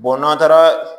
n'an taara